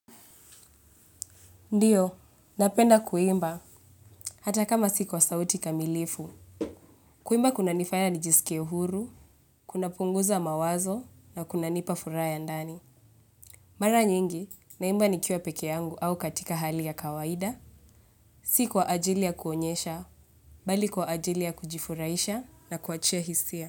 Ndiyo, napenda kuimba hata kama si kwa sauti kamilifu. Kuimba kunanifaya nijisike huru, kunapunguza mawazo na kunanipa furaha ya ndani. Mara nyingi, naimba nikiwa peke yangu au katika hali ya kawaida, si kwa ajili ya kuonyesha, bali kwa ajili ya kujifuraisha na kuachia hisia.